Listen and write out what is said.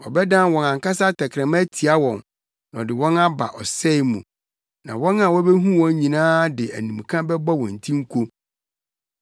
Ɔbɛdan wɔn ankasa tɛkrɛma atia wɔn na ɔde wɔn aba ɔsɛe mu; na wɔn a wobehu wɔn nyinaa de animka bɛbɔ wɔn ti nko.